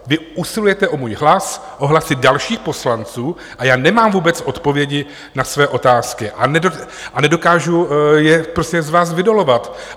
Vy usilujete o můj hlas, o hlasy dalších poslanců, a já nemám vůbec odpovědi na své otázky a nedokážu je z vás vydolovat.